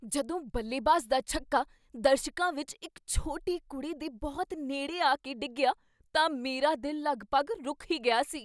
ਜਦੋਂ ਬੱਲੇਬਾਜ਼ ਦਾ ਛੱਕਾ ਦਰਸ਼ਕਾਂ ਵਿੱਚ ਇੱਕ ਛੋਟੀ ਕੁੜੀ ਦੇ ਬਹੁਤ ਨੇੜੇ ਆ ਕੇ ਡਿੱਗਿਆ ਤਾਂ ਮੇਰਾ ਦਿਲ ਲਗਭਗ ਰੁਕ ਹੀ ਗਿਆ ਸੀ।